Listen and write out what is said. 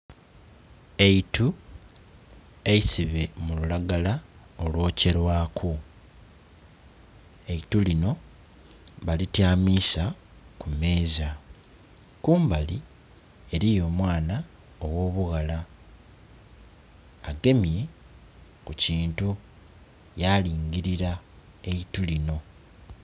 Eitu eisibe mu lulagala olwokye lwaku, eitu lino balityamiisa kumeeza, kumbali eriyo omwana ogh'obughala agemye ku kintu yalingirira eitu linho.